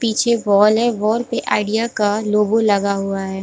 पीछे वॉल है वॉल पे आईडिया का लोगो लगा हुआ है।